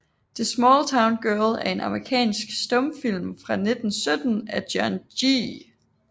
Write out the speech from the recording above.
The Small Town Girl er en amerikansk stumfilm fra 1917 af John G